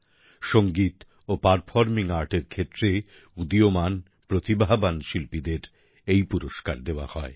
সঙ্গীত ও performing art এর ক্ষেত্রে উদীয়মান প্রতিভাবান শিল্পীদের এই পুরস্কার দেওয়া হয়